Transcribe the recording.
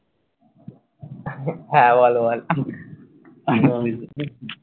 হ্যাঁ, আবার বলে